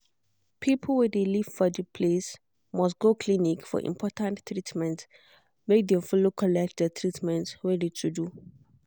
people wey de live for de place must go clinic for important treament make dem follow collect de treatment wey de to do.